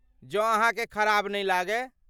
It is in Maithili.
जौं अहाँ के खराब नहि लागय ।